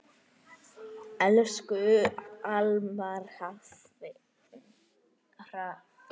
Elsku Almar Hrafn.